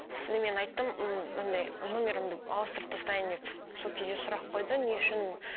сосын мен айттым м андай номерімді ауыстырып тастайын деп сол кезде сұрақ қойды не үшін